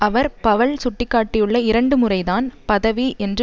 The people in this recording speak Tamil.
அவர் பவல் சுட்டிக்காட்டியுள்ள இரண்டு முறை தான் பதவி என்று